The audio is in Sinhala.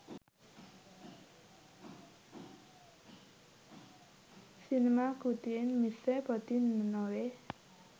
සිනමා කෘතියෙන් මිස පොතින් නොවේ.